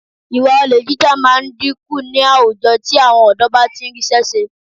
Ìwà olè jíjà máa dínkù ní àwùjọ tí àwọn ọ̀dọ́ bá ti ń rí iṣẹ́ ṣe